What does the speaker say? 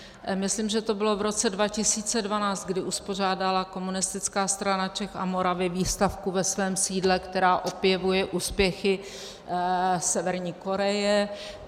Myslím, že to bylo v roce 2012, kdy uspořádala Komunistická strana Čech a Moravy výstavku ve svém sídle, která opěvuje úspěchy Severní Koreje.